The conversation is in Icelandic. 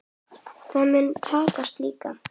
Það mun takast líka.